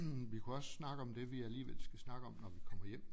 Vi kunne også snakke om det vi alligevel skal snakke om når vi kommer hjem